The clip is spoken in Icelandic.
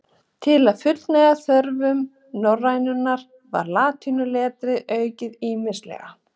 Til að fullnægja þörfum norrænunnar var latínuletrið aukið ýmislega.